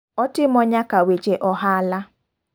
Otimo nyaka weche ohala.